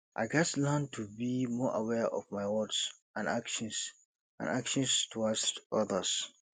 i gats learn to be more aware of my words and actions and actions towards others